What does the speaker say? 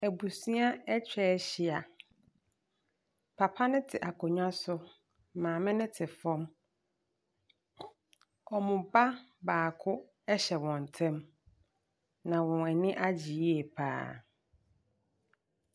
Abusua atwa ahyia. Papa no te akonnwa so. Maame no te fam. Wɔn ba baako hyɛ wɔn ntam, na wɔn ani agye yie pa ara.